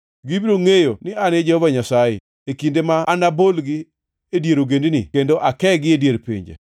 “Gibiro ngʼeyo ni An e Jehova Nyasaye, e kinde ma anabolgi e dier ogendini kendo akegi e dier pinje.